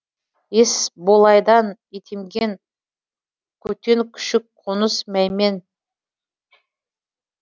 есболайдан итемген көтен күшік қоныс мәймен